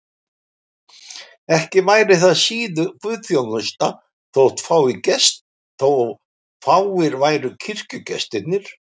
Ekki væri það síður guðsþjónusta þótt fáir væru kirkjugestirnir.